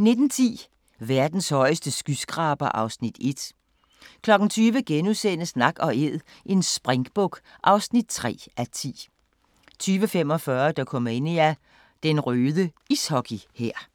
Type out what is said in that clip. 19:10: Verdens højeste skyskraber (Afs. 1) 20:00: Nak & Æd – en springbuk (3:10)* 20:45: Dokumania: Den røde ishockey-hær